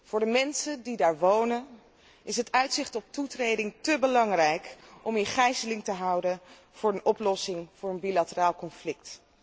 Voor de mensen die daar wonen is het uitzicht op toetreding te belangrijk om in gijzeling te worden gehouden voor de oplossing van een bilateraal conflict.